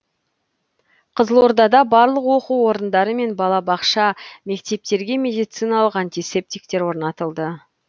қызылордада барлық оқу орындары мен балабақша мектептерге медициналық антисептиктер орнатылды